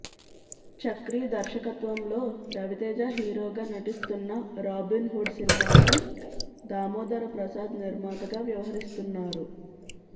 చక్రి దర్శకత్వంలో రవితేజ హీరోగా నటిస్తున్న రాబిన్ హుడ్ సినిమాకి దామోదర ప్రసాద్ నిర్మాతగా వ్యవహరిస్తున్నారు